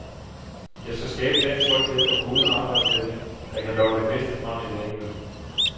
Jeg skal skabe den tryghed og gode arbejdsstemning, der kan lokke det bedste frem i hver enkelt.